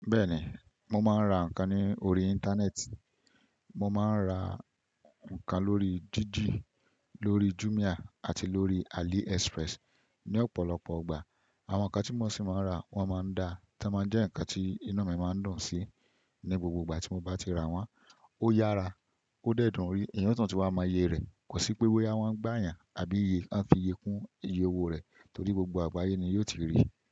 Bẹ́ẹ̀ni, mo máa ń ra nǹkan ní orí Íńtánẹ́ẹ̀tì. Mo máa ń ra nǹkan lórí Jiji, lórí Jumia àti lórí AliExpress. Ni ọ̀pọ̀lọpọ̀ igbà, àwọn nǹkan tí mo ṣì máa ń rà wọ́n máa ń da tán máa jẹ́ nǹkan tí inu máa ń dun sí. Ni gbogbo ìgbà tí mo bá ti rà wọ́n, ó yára, ó dẹ̀ dùn rí, èèyàn si tún ti wà mo yé rẹ̀. Kò sí pé boya won ń gbà yàn àbí i won fiye kún iye owó rẹ̀ torí gbogbo àgbáyé ni yóò ti rí i.